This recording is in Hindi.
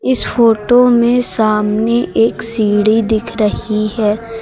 इस फोटो में सामने एक सीढ़ी दिख रही है।